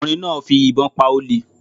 Ọ̀kùnrin náà fi ìbọn pa olè